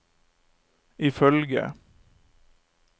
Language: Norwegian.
ifølge